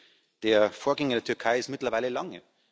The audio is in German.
Die Liste der Vorgänge in der Türkei ist mittlerweile lang.